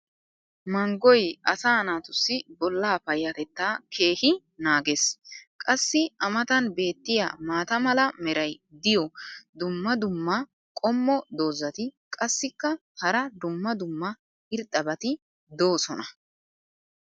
Manggoy asaa naatussi bolaa payatettaa keehi naagees. qassi a matan beetiya maata mala meray diyo dumma dumma qommo dozzati qassikka hara dumma dumma irxxabati doosona.